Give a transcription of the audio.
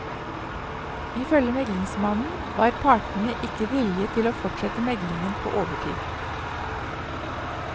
Ifølge meglingsmannen var partene ikke villige til å fortsette meglingen på overtid.